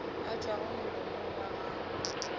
a tšwago molomong wa gago